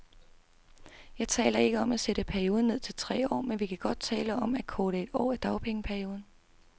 Jeg taler ikke om at sætte perioden ned til tre år, men vi kan godt tale om at korte et år af dagpengeperioden.